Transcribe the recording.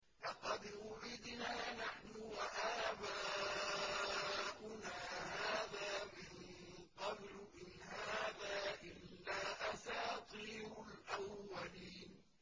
لَقَدْ وُعِدْنَا نَحْنُ وَآبَاؤُنَا هَٰذَا مِن قَبْلُ إِنْ هَٰذَا إِلَّا أَسَاطِيرُ الْأَوَّلِينَ